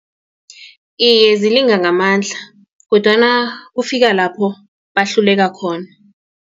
Iye, zilinga ngamandla kodwana kufika lapho bahluleka khona.